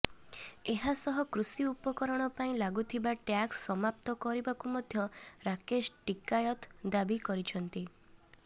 ଏହା ସହ କୃଷି ଉପକରଣ ପାଇଁ ଲାଗୁଥିବା ଟ୍ୟାକ୍ସ ସମାପ୍ତ କରିବାକୁ ମଧ୍ୟ ରାକେଶ ଟିକାୟତ ଦାବି କରିଛନ୍ତି